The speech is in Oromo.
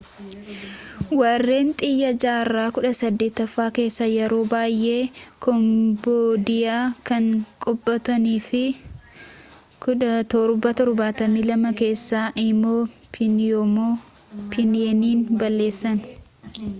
warreen tiyaa jaarraa 18ffaa keessa yeroo baayee kombodiyaa kan qabatanii fi 1772 keessa immoo piihnoom piheeniin balleessan